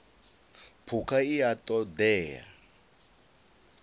phukha i a ṱo ḓea